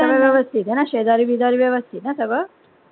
सगळं व्यवस्थित आहे ना शेजारी बिझारी व्यवस्थित ना सगळं?